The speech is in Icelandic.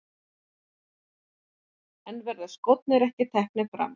En verða skórnir ekki teknir fram?